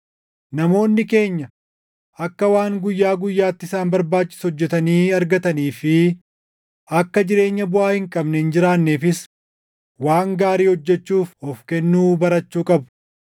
Namoonni keenya akka waan guyyaa guyyaatti isaan barbaachisu hojjetanii argatanii fi akka jireenya buʼaa hin qabne hin jiraanneefis waan gaarii hojjechuuf of kennuu barachuu qabu.